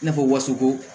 I n'a fɔ wuruko